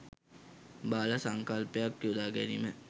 බාල සංකල්පයක් යොදා ගැනීම